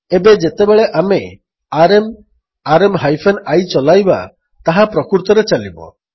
ଏବେ ଯେତେବେଳେ ଆମେ ଆରଏମ୍ ଆରଏମ୍ ହାଇଫେନ୍ I ଚଲାଇବା ତାହା ପ୍ରକୃତରେ ଚାଲିବ